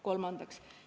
Kolmandaks.